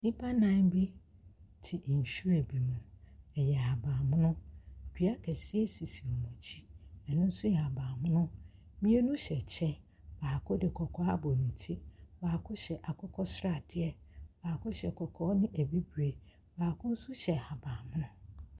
Nnipa nnan bi te nhwiren bi mu. Ɛyɛ ahabammono. Dua kɛseɛ sisi wɔn akyi. Ɛno nso yɛ ahabammono. Mmienu hyɛ kyɛ, baako de kɔkɔɔ abɔ ne ti. Baako hyɛ akokɔsradeɛ, baako hyɛ kɔkɔɔ ne bibire, baako nso hyɛ ahabammono.